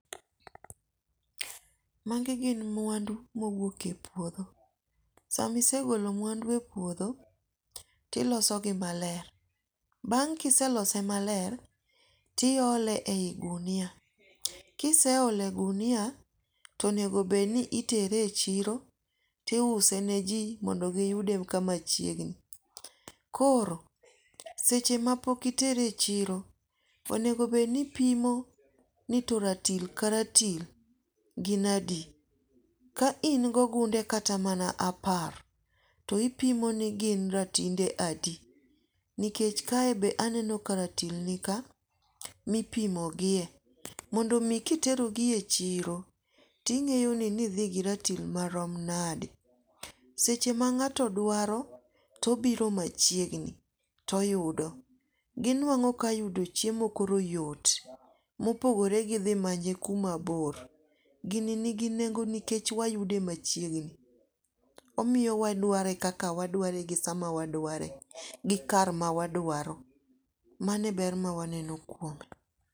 Magi gin mwandu ma wuok e puotho, sama isegolo mwandu epuotho tilosogi maler, bang' kiselose, tiyole e yi gunia, kiseole e gunia to onego bed ni itere e chiro tiuseneji mondo giyude kama chiegni, koro seche ma pok itere e chiro onego bed ni ipimo ni to ratil karatil gin adi, ka in gi ogunde kata mana apar, to ipimo ni gin ratinde adi nikech kae be aneno ka ratil nika mipimogie , mondomi kiterogi e chiro ting'eyo nidhi gi ratil ma rom nade, seche ma ng'ato dwaro obiro machiegni too oyudo, ginwango ka yudo chiemo koro yot, mopogore gi thi manye kuma bor. Gini nigi nengo nikech wayude machiegni, omiyowa waduare kaka waduare gi sama waduare gi kar mawaduaro mano e ber mawaneno kuondgo